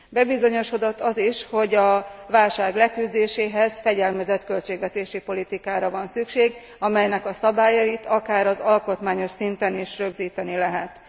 Bebizonyosodott az is, hogy a válság leküzdéséhez fegyelmezett költségvetési politikára van szükség, amelynek a szabályait akár az alkotmányos szinten is rögzíteni lehet.